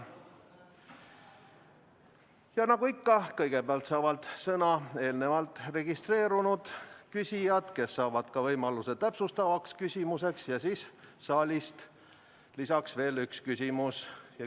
Ja nagu ikka, kõigepealt saavad sõna eelnevalt registreerunud küsijad, kes saavad ka võimaluse täpsustavaks küsimuseks, ja siis võib saalist lisaks esitada veel ühe küsimuse.